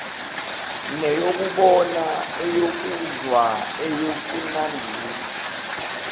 neyokubona eyokuzwa eyokunambitha